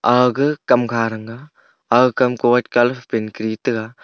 aga ka kamkha thanga aga kam ko white colour paint Kari taga.